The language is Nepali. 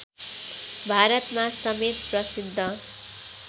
भारतमा समेत प्रसिद्ध